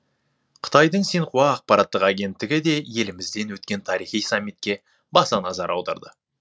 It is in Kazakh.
қытайдың синьхуа ақпараттық агенттігі де елімізден өткен тарихи саммитке баса назар аударды